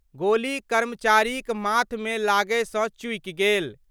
गोली कर्मचारीक माथ मे लागय सँ चूकि गेल।